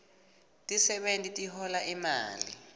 tisebewti tihola imali